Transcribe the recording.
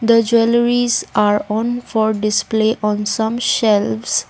The jewelleries are on for display on some shelves.